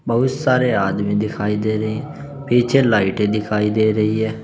बहुत सारे आदमी दिखाई दे रहे हैं पीछे लाइटे दिखाई दे रही है।